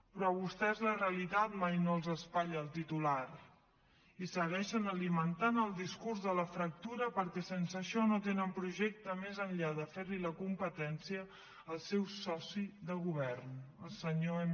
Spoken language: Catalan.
però a vostès la realitat mai no els espatlla el titular i segueixen alimentant el discurs de la fractura perquè sense això no tenen projecte més enllà de fer li la competència al seu soci de govern el senyor m